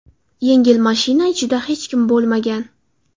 Yengil mashina ichida hech kim bo‘lmagan.